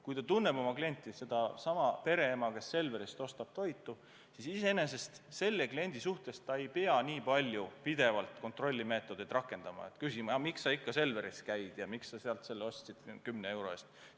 Kui ta tunneb oma klienti, sedasama pereema, kes Selverist toitu ostab, siis selle kliendi suhtes ta ei pea pidevalt kontrollimeetodeid rakendama, näiteks küsima, miks sa ikka Selveris käid ja miks sa sealt 10 euro eest ostsid.